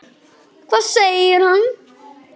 Hvað segir hann?